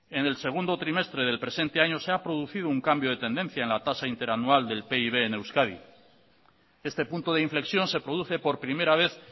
en el segundo trimestre del presente año se ha producido un cambio de tendencia en la tasa interanual del pib en euskadi este punto de inflexión se produce por primera vez